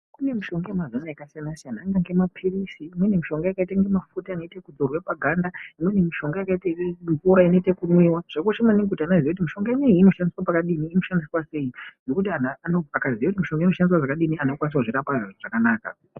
Kune mishonga yemazuwano yakasiyana siyana angange maphirizi imweni mishonga yakaite mafuta anoite ekudzorwe paganda, imweni mishonga yakaite mvura inoite ekumwiwa zvakakosha maningi kuti ana aziye kuti mishonga ineyi inoshandiswe pakadini inoshandiswa sei ngekuti anhu akaziye kuti mishonga inoshandiswe zvakadini anhu anokwanisa kuzvirapa zvakanaka.